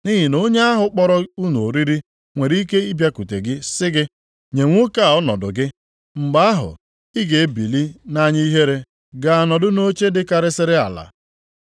Nʼihi na onye ahụ kpọrọ unu oriri nwere ike bịakwute gị sị gị, nye nwoke a ọnọdụ gị. Mgbe ahụ, ị ga-ebili nʼanya ihere gaa nọdụ nʼoche dịkarịsịrị ala.